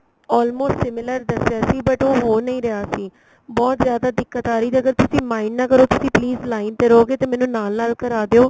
almost similar ਦੱਸਿਆ ਸੀ but ਉਹ ਹੋ ਨਹੀਂ ਰਿਹਾ ਸੀ ਬਹੁਤ ਜਿਆਦਾ ਦਿੱਕਤ ਆ ਰਹੀ ਅਗਰ ਤੁਸੀਂ mind ਨਾ ਕਰੋ ਤੁਸੀਂ please line ਤੇ ਰਹੋਗੇ ਤੇ ਮੈਨੂੰ ਨਾਲ ਨਾਲ ਕਰਾ ਦਿਉ